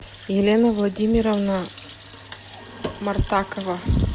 елена владимировна мартакова